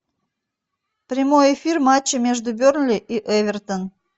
прямой эфир матча между бернли и эвертон